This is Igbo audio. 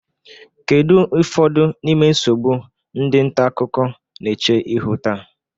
Kedu ụfọdụ n'ime nsogbu ndị nta akụkọ na-eche ihu taa?